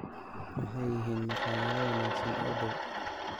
Maxay yihiin maqaayado wanaagsan oo dhow?